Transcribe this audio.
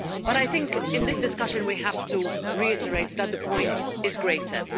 I think in this discussion, we have to reiterate that the point is greater.